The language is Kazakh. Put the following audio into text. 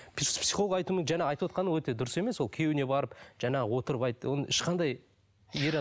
жаңа айтып отырғаны дұрыс емес ол күйеуіне барып жаңағы отырып айт оны ешқандай ер